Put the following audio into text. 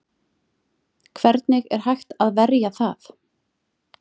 Hvernig er hægt að verja það?